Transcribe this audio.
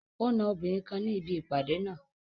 O na obìnrin kan ni ibi ipade naa